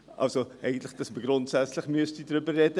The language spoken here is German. Also müsste man eigentlich grundsätzlich darüber reden: